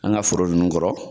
An ka foro ninnu kɔrɔ